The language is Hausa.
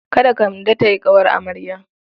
Kada Kande ta yi ƙawar amarya.